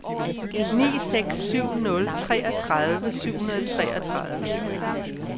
ni seks syv nul treogtredive syv hundrede og treogtredive